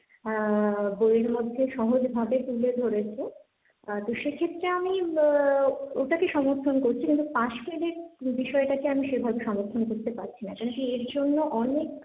আহ বইয়ের মধ্যে সহজ ভাবে তুলে ধরেছে, আহ তো সেক্ষেত্রে আমি আহ ওটাকে সমর্থন করছি, কিন্তু পাশ ফেলের বিষয়টাকে আমি সেভাবে সমর্থন করতে পারছি না, কেন কি এর জন্য অনেক,